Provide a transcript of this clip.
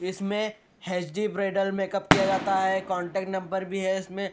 इसमें HD bridal makeup किया जाता है कांटेक्ट नंबर भी है इसमें।